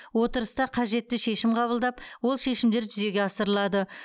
отырыста қажетті шешім қабылдап ол шешімдер жүзеге асырылады